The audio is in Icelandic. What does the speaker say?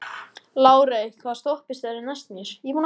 Lárey, hvaða stoppistöð er næst mér?